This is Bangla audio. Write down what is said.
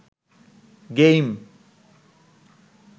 গেইম